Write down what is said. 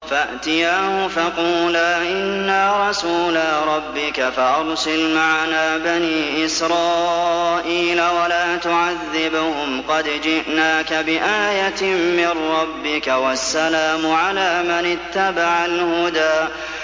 فَأْتِيَاهُ فَقُولَا إِنَّا رَسُولَا رَبِّكَ فَأَرْسِلْ مَعَنَا بَنِي إِسْرَائِيلَ وَلَا تُعَذِّبْهُمْ ۖ قَدْ جِئْنَاكَ بِآيَةٍ مِّن رَّبِّكَ ۖ وَالسَّلَامُ عَلَىٰ مَنِ اتَّبَعَ الْهُدَىٰ